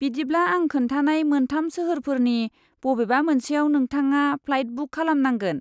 बिदिब्ला आं खोन्थानाय मोन्थाम सोहोरफोरनि बबेबा मोनसेयाव नोंथाङा फ्लाइट बुक खालामनांगोन।